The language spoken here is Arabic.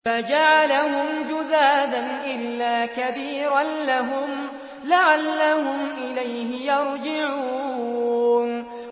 فَجَعَلَهُمْ جُذَاذًا إِلَّا كَبِيرًا لَّهُمْ لَعَلَّهُمْ إِلَيْهِ يَرْجِعُونَ